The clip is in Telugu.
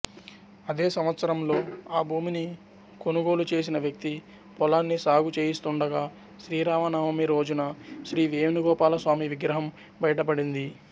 అదే సంవత్సరంలో ఆ భూమిని కొనుగోలు చేసిన వ్యక్తి పొలాన్ని సాగుచేయిస్తుండగా శ్రీరామనవమిరోజున శ్రీ వేణుగోపాలస్వామి విగ్రహం బయటపడింది